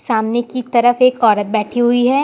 सामने की तरफ एक औरत बैठी हुई है।